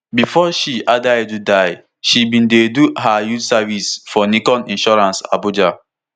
bifor she adaidu die she bin dey do her youth service for nicon insurance abuja